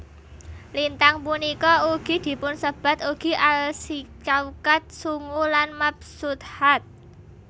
Lintang punika ugi dipunsebat ugi Alsciaukat sungu lan Mabsuthat